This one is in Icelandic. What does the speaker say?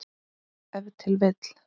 Ef til vill!